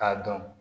K'a dɔn